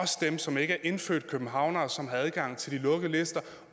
som ikke er indfødte københavnere som har adgang til de lukkede lister